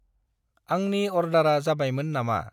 आंनि अर्दारा जाबायमोन नामा?